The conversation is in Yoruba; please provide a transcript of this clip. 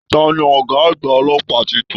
Tani ọgá àgbà ọlọ́pàá títún?